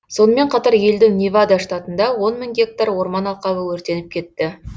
сонымен қатар елдің невада штатында он мың гектар орман алқабы өртеніп кетті